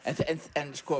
en